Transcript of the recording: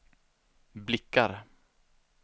blickar